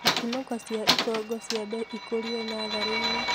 Ikũnũko cia ikongo ciambe ikũlio natharĩinĩ